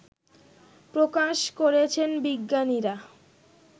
প্রকাশ করেছেন বিজ্ঞানীরা